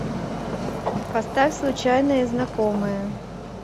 поставь случайные знакомые